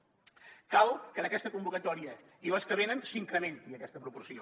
cal que en aquesta convocatòria i les venen s’incrementi aquesta proporció